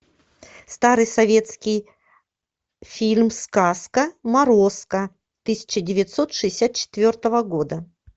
старый советский фильм сказка морозко тысяча девятьсот шестьдесят четвертого года